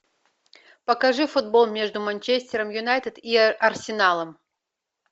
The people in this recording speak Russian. покажи футбол между манчестером юнайтед и арсеналом